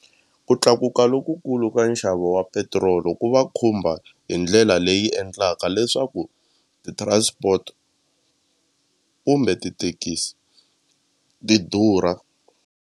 Ku tlakuka lokukulu ka nxavo wa petiroli ku va khumba hi ndlela leyi endlaka leswaku ti-transport kumbe tithekisi ti durha.